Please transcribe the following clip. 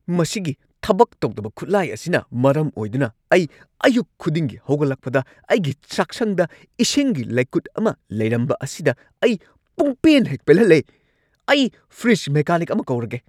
ꯃꯁꯤꯒꯤ ꯊꯕꯛ ꯇꯧꯗꯕ ꯈꯨꯠꯂꯥꯏ ꯑꯁꯤꯅ ꯃꯔꯝ ꯑꯣꯏꯗꯨꯅ ꯑꯩ ꯑꯌꯨꯛ ꯈꯨꯗꯤꯡꯒꯤ ꯍꯧꯒꯠꯂꯛꯄꯗ ꯑꯩꯒꯤ ꯆꯥꯛꯁꯪꯗ ꯏꯁꯤꯡꯒꯤ ꯂꯩꯀꯨꯠ ꯑꯃ ꯂꯩꯔꯝꯕ ꯑꯁꯤꯗ ꯑꯩ ꯄꯨꯡꯄꯦꯟ ꯍꯦꯛ ꯄꯦꯜꯍꯜꯂꯦ! ꯑꯩ ꯐ꯭ꯔꯤꯖ ꯃꯦꯀꯥꯅꯤꯛ ꯑꯃ ꯀꯧꯔꯒꯦ ꯫